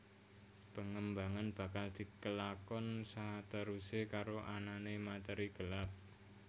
Pengembangan bakal dikelakon saterusé karo anané materi gelap